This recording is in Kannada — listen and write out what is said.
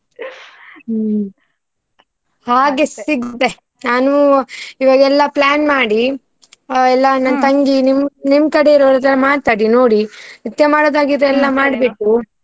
ಹ್ಮ್ ಹಾಗೆ ಸಿಗ್ತೇ . ನಾನು ಇವಾಗ್ ಎಲ್ಲಾ plan ಮಾಡಿ. ಎಲ್ಲಾ ತಂಗಿ, ನಿಮ್ಮ ಕಡೆ ಅವರತ್ರ ಮಾತಾಡಿ ನೋಡಿ ನೃತ್ಯ ಮಾಡುದು ಆಗಿದ್ರೆ.